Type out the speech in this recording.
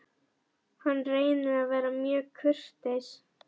Hann reynir að vera mjög kurteis.